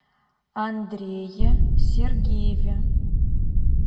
андрее сергееве